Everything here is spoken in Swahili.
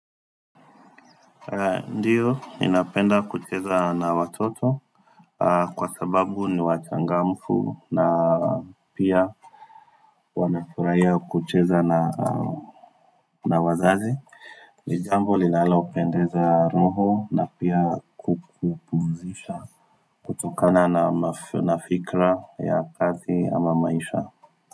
Ndiyo ni napenda kucheza na watoto kwa sababu ni wachangamfu na pia Wanafurahia kucheza na na wazazi. Nijambo linalo pendeza roho na pia kupumzisha. Kutokana na fikra ya kazi ama maisha.